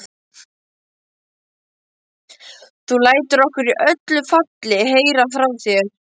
Þú lætur okkur í öllu falli heyra frá þér.